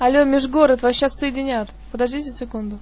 алло межгород вас сейчас соединяет подождите секунду